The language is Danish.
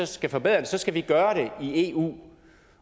skal forbedre det så skal vi gøre det i eu